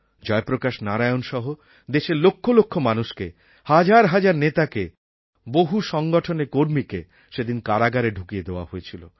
জয়প্রকাশ নারায়ণ সহ দেশের লক্ষ লক্ষ মানুষকে হাজার হাজার নেতাকে বহু সংগঠনের কর্মীকে সেদিন কারাগারে ঢুকিয়ে দেওয়া হয়েছিল